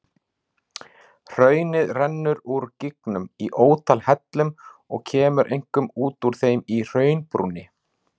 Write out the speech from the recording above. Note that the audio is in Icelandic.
Hraunið rennur úr gígnum í ótal hellum og kemur einkum út úr þeim í hraunbrúninni.